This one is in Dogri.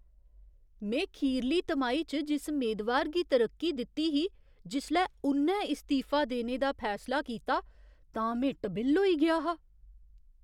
में खीरली तिमाही च जिस मेदवार गी तरक्की दित्ती ही, जिसलै उ'न्नै इस्तीफा देने दा फैसला कीता तां में टबिल्ल होई गेआ हा।